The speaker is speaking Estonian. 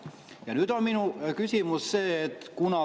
Ja nüüd on minu küsimus see.